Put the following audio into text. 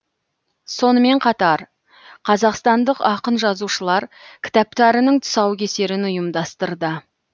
сонымен қатар қазақстандық ақын жазушылар кітаптарының тұсаукесерін ұйымдастырды